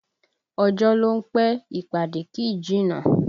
Ọjọ́ ló ń pẹ́, ìpàdé kì í jìnnà